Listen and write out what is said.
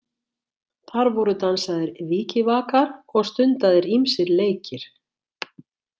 Þar voru dansaðir vikivakar og stundaðir ýmsir leikir.